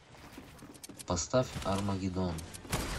поставь армагедон